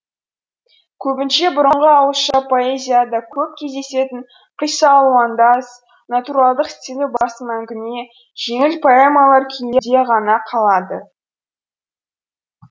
көбінше бұрынғы ауызша поэзияда көп кездесетін қисса алуандас натуралдық стилі басым әңгіме жеңіл поэмалар күйінде ғана қалады